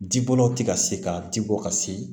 Jibɔlaw ti ka se ka ji bɔ ka se